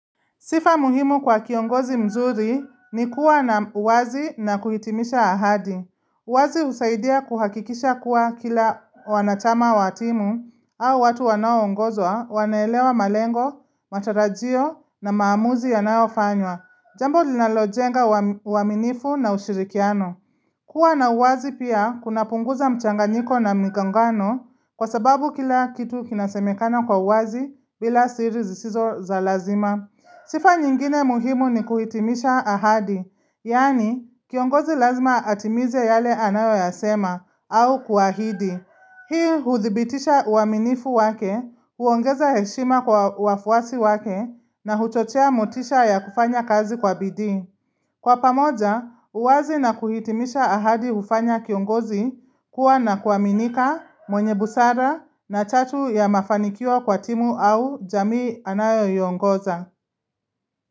Sifa muhimu kwa kiongozi mzuri ni kuwa na uwazi na kuhitimisha ahadi. Uwazi husaidia kuhakikisha kuwa kila wanachama watimu au watu wanaongozwa wanelewa malengo, matarajio na maamuzi yanayofanywa. Jambo linalojenga uaminifu na ushirikiano. Kuwa na uwazi pia kuna punguza mchanganyiko na migongano kwa sababu kila kitu kinasemekana kwa uwazi bila siri zisizo za lazima. Sifa nyingine muhimu ni kuhitimisha ahadi, yaani kiongozi lazima atimize yale anayo yasema au kuahidi. Hii huthibitisha uaminifu wake, huongeza heshima kwa wafuasi wake na huchochea motisha ya kufanya kazi kwa bidii. Kwa pamoja, uwazi na kuitimisha ahadi hufanya kiongozi kuwa na kuaminika, mwenye busara na chatu ya mafanikio kwa timu au jamii anayoiongoza.